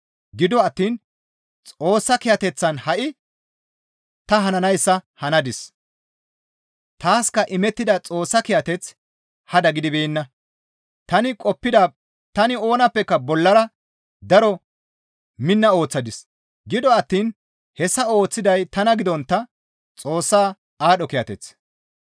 Gido attiin Xoossa kiyateththan ha7i ta hananayssa hanadis; taaska imettida Xoossa kiyateththi hada gidibeenna; tani oonappeka bollara daro minna ooththadis. Gido attiin hessa ooththiday tana gidontta Xoossa aadho kiyateth.